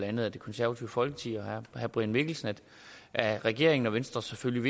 andet det konservative folkeparti og herre brian mikkelsen at regeringen og venstre selvfølgelig